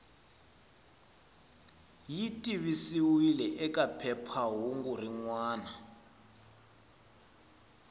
yi tivisiwile eka phephahungu rin